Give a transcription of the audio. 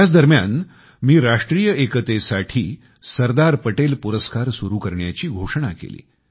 त्याच दरम्यान मी राष्ट्रीय एकतेसाठी सरदार पटेल पुरस्कार सुरू करण्याची घोषणा केली